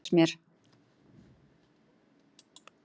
Kannski var það einmitt þín vegna sem ég bað mömmu þína að giftast mér.